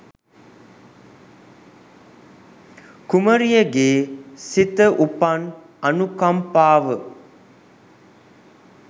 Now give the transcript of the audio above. කුමරියගේ සිත උපන් අනුකම්පාව